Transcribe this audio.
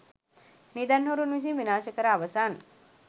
නිදන් හොරුන් විසින් විනාශ කර අවසන්.